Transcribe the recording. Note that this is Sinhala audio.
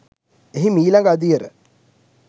එහි මීළඟ අදියර